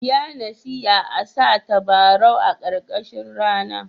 Ya nasiya a sa tabarau a karkashin rana.